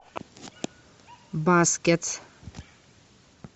баскетс